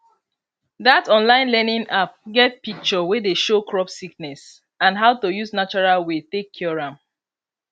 that online learning app get picture wey dey show crop sickness and how to use natural way take cure am